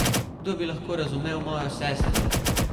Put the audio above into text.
Kdo bi lahko razumel mojo sestro?